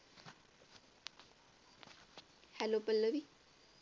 Hello Pallavi